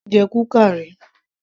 Èmi kò tíì jẹ kuka ríi